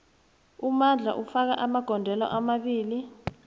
umandla ufake amagondelo amabili